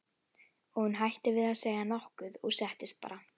Og hún hætti við að segja nokkuð og settist bara.